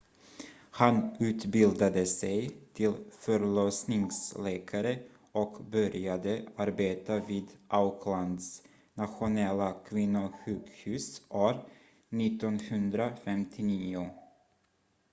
han utbildade sig till förlossningsläkare och började arbeta vid aucklands nationella kvinnosjukhus år 1959